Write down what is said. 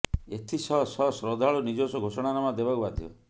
ଏଥିସହ ସହ ଶ୍ରଦ୍ଧାଳୁ ନିଜସ୍ୱ ଘୋଷଣା ନାମା ଦେବାକୁ ବାଧ୍ୟ